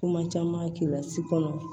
Kuma caman kila si kɔnɔ